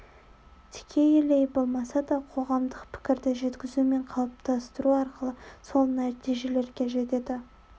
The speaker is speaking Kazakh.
тікелей болмаса да қоғамдық пікірді жеткізу мен қалыптастыру арқылы сол нәтижелерге жетеді